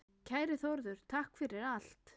Kæri Þórður, takk fyrir allt.